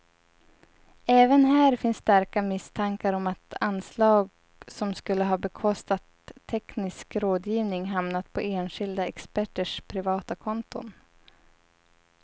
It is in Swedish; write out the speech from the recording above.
Även här finns starka misstankar om att anslag som skulle ha bekostat teknisk rådgivning hamnat på enskilda experters privata konton.